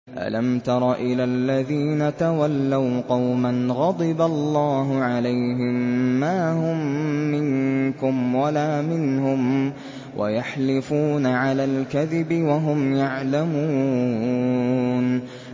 ۞ أَلَمْ تَرَ إِلَى الَّذِينَ تَوَلَّوْا قَوْمًا غَضِبَ اللَّهُ عَلَيْهِم مَّا هُم مِّنكُمْ وَلَا مِنْهُمْ وَيَحْلِفُونَ عَلَى الْكَذِبِ وَهُمْ يَعْلَمُونَ